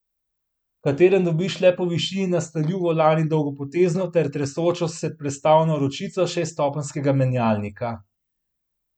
V katerem dobiš le po višini nastavljiv volan in dolgopotezno ter tresočo se prestavno ročico šeststopenjskega menjalnika.